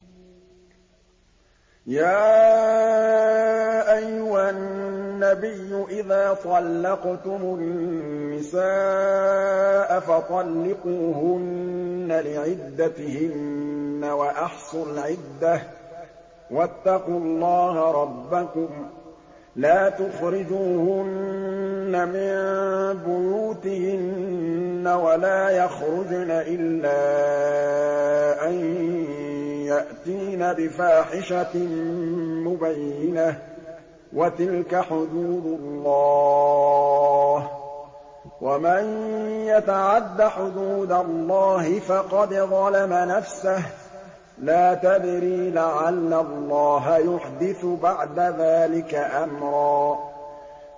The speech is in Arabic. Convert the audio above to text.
يَا أَيُّهَا النَّبِيُّ إِذَا طَلَّقْتُمُ النِّسَاءَ فَطَلِّقُوهُنَّ لِعِدَّتِهِنَّ وَأَحْصُوا الْعِدَّةَ ۖ وَاتَّقُوا اللَّهَ رَبَّكُمْ ۖ لَا تُخْرِجُوهُنَّ مِن بُيُوتِهِنَّ وَلَا يَخْرُجْنَ إِلَّا أَن يَأْتِينَ بِفَاحِشَةٍ مُّبَيِّنَةٍ ۚ وَتِلْكَ حُدُودُ اللَّهِ ۚ وَمَن يَتَعَدَّ حُدُودَ اللَّهِ فَقَدْ ظَلَمَ نَفْسَهُ ۚ لَا تَدْرِي لَعَلَّ اللَّهَ يُحْدِثُ بَعْدَ ذَٰلِكَ أَمْرًا